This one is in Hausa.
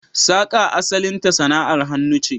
Saka asalinta sana'ar hannu ce.